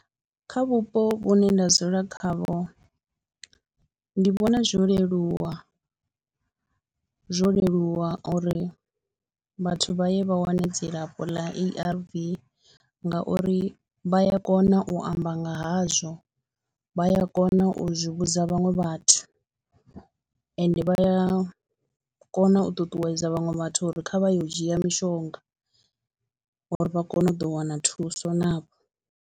Kha vhupo vhune nda dzula khavho ndi vhona zwo leluwa, zwo leluwa uri vhathu vha ye vha wane dzilafho ḽa A_R_V ngauri vha ya kona u amba nga hazwo, vha ya kona u zwi vhudza vhaṅwe vhathu ende vha ya kona u ṱuṱuwedza vhaṅwe vhathu uri kha vha ye u dzhia mishonga uri vha kone u ḓo wana thuso navho.